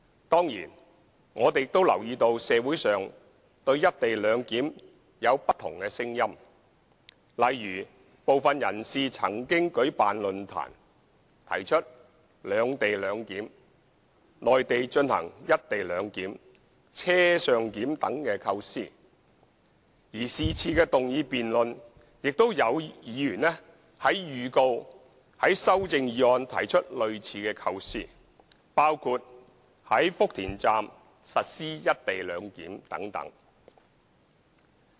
當然，我們亦留意到社會上對"一地兩檢"有不同的聲音，例如部分人士曾舉辦論壇，提出"兩地兩檢"、內地進行"一地兩檢"、"車上檢"等構思，而是次議案辯論中也有議員預告會於修正案提出類似構思，包括在福田站實施"一地兩檢"等。